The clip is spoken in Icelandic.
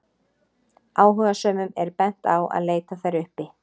Áhugasömum er bent á að leita þær uppi.